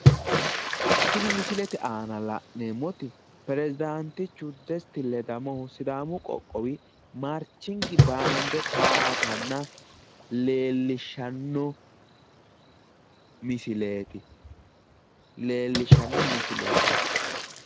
Tini misilete aana la'neemmoti pirezidaantichu Desti ledamohu sidaamu qoqqowi maarching baande towaatanna leellishshanno misileeti. leellishshanno misileeti.